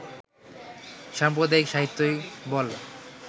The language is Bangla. সাম্প্রদায়িক সাহিত্যই বল